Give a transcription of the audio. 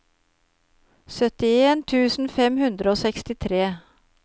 syttien tusen fem hundre og sekstitre